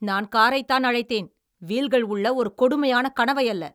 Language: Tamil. நான் காரைத்தான் அழைத்தேன், வீல்கள் உள்ள ஒரு கொடுமையான கனவையல்ல!